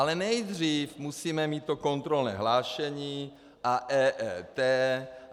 Ale nejdřív musíme mít to kontrolní hlášení a EET...